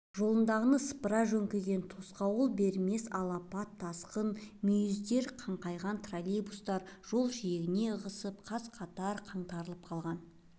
жолындағыны сыпыра жөңкіген тосқауыл бермес алапат тасқын мүйіздер қаңқайған троллейбустар жол жиегіне ығысып қаз-қатар қаңтарылып қалған